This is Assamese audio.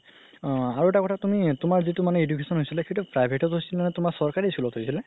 অ আৰু এটা কথা তুমি তুমাৰ যিতু তুমাৰ মানে education হৈছিলে সেইটো private ত হৈছিলে নে তুমাৰ চৰকাৰি school ত হৈছিলে